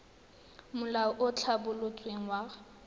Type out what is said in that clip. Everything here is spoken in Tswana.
molao o o tlhabolotsweng wa